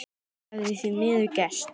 Það hafi því miður gerst.